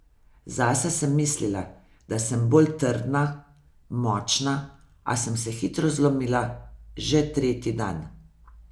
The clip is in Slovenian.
Zase sem mislila, da sem bolj trdna, močna, a sem se hitro zlomila, že tretji dan.